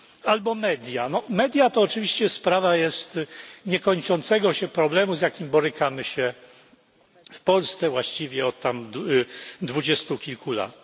Albo media media to oczywiście jest sprawa niekończącego się problemu, z jakim borykamy się w Polsce właściwie od dwudziestu kilku lat.